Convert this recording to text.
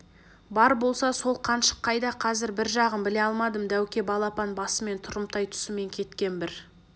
бар болса сол қаншық қайда қазір жағын біле алмадым дәуке балапан басымен тұрымтай тұсымен кеткен бір